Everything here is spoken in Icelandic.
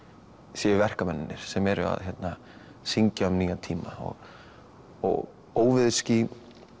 sé verkamennirnir sem eru að syngja um nýja tíma og óveðursský